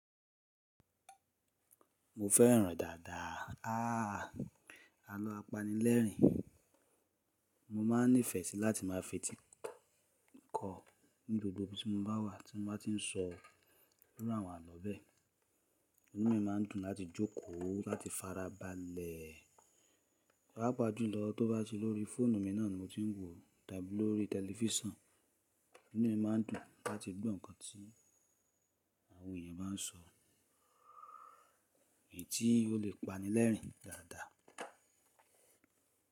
Mo fẹ́ràn dàda, àlọ́ apanilẹ́rìn. Mo máa nífẹ̀ẹ́ sí láti máa fetí kọ̀ ní gbogbo ibi tí mo bá wà tí wọ́n bá tí n sọ iru àwọn àlọ́ bẹ́ẹ̀. Inú mi máa n dùn láti jókòó láti fara balẹ̀. Papàjúlọ tó bá ti lórí fóònù mi náà ni mo ti ń wò tàbí lórí tẹlifísàn, inú mi má n dùn láti gbọ́ nǹkan tí àwọn èèyàn bá n sọ, èyí tí ó lè pani lẹ́rìn dàda.